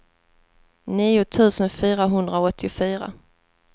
nio tusen fyrahundraåttiofyra